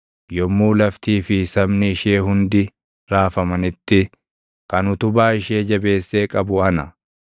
Yommuu laftii fi sabni ishee hundi raafamanitti, kan utubaa ishee jabeessee qabu ana.